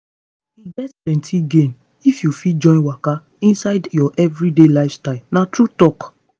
e get plenty gain if you fit join waka inside your everyday lifestyle na true talk.